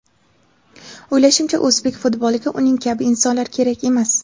O‘ylashimcha, o‘zbek futboliga uning kabi insonlar kerak emas.